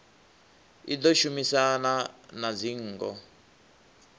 i ḓo shumisana na dzingo